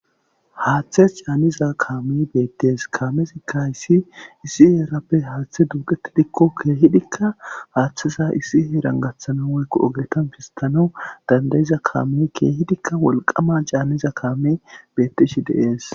Haaththe caaniza kaamme beettees. kaamezikka hayssi issi heerappe haaththe duuqetidikko keehidikka haaththeza issi heeran gaththanaw woykko oggetan pisttanaw danda7iza kaame keehidika wolqqama caaniza kaame dishshe de7ees.